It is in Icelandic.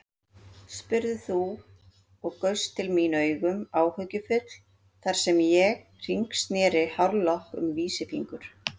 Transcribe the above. spurðir þú og gaust til mín augum áhyggjufull þar sem ég hringsneri hárlokk um vísifingur.